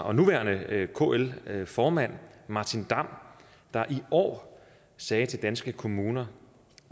og nuværende kl formand martin damm der i år sagde til danske kommuner